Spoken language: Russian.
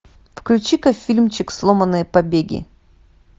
включи ка фильмчик сломанные побеги